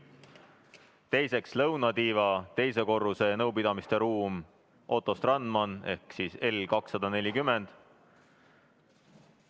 Teiseks, lõunatiiva teise korruse nõupidamisruum ehk L240.